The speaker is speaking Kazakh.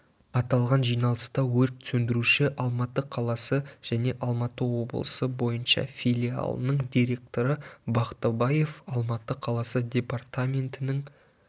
аталған жиналыста өрт сөндіруші алматы қаласы және алматы облысы бойынша филиалының директоры бақтыбаев алматы қаласы департаментінің